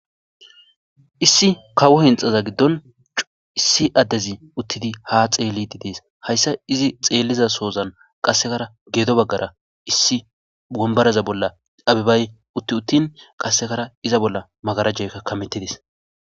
Issi kawo hinxaza giddon issi addezi uttidi ha xeellididees hayssa izi xeelliza soozan qassekara geedo baggara issi bombaraza bolla abibay utti uttin qassekara iza bolla magarajekka kamettidis.